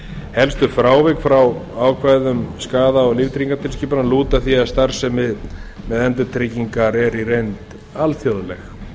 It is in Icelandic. helstu frávik frá ákvæðum skaða og líftryggingatilskipana lúta að því að starfsemi með endurtryggingar eru í reynd alþjóðleg